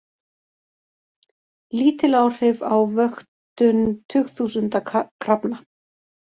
Lítil áhrif á vöktun tugþúsunda krafna